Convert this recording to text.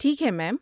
ٹھیک ہے، میم۔